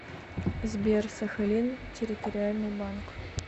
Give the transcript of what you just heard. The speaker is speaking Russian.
сбер сахалин территориальный банк